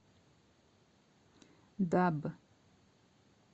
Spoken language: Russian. даб